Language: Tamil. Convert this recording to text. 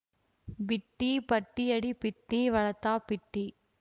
பிட்டி பட்டியடிப்பிட்டி வளத்தாப்பிட்டி